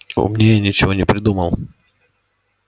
умнее ничего не придумал